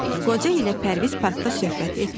Qoca ilə Pərviz parkda söhbət etdilər.